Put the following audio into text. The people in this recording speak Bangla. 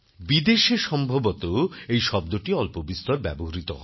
বিদেশে সম্ভবত এই শব্দটি অল্পবিস্তর ব্যবহৃত হয়